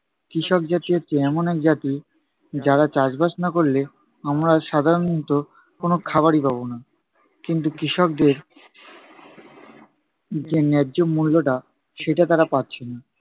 কৃষক জাতি হচ্ছে এমন এক জাতি, যারা চাষবাস না করলে আমরা সাধারণত কোনো খাবারই পাবো না। কিন্তু কৃষকদের যে ন্যায্য মূল্যটা সেটা তারা পাচ্ছে না।